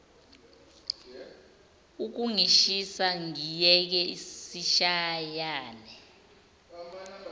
ukungishisa ngiyeke sishayane